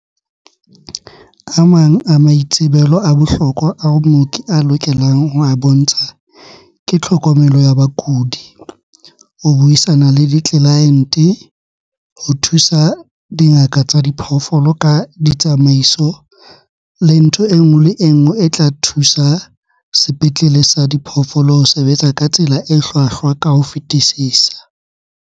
"A mang a maitsebelo a bohlokwa ao mooki a lokelang ho a bontsha ke tlhokomelo ya bakudi, ho buisana le ditlelaente, ho thusa dingaka tsa diphoofolo ka ditsamaiso, le ntho e nngwe le e nngwe e tla thusa sepetlele sa diphoofolo ho sebetsa ka tsela e hlwahlwa ka ho fetisisa."